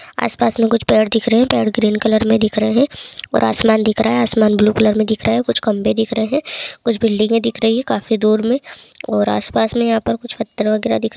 आस-पास में कुछ पेड़ दिख रहे हैं पेड़ ग्रीन कलर में दिख रहे हैं और आसमान दिख रहा है आसमान ब्लू कलर में दिख रहा है कुछ खंभे दिख रहे हैं कुछ बिल्डिंगें दिख रही हैं काफी दूर में और आस-पास में यहाँ पर कुछ पत्थर वगैरा दिख --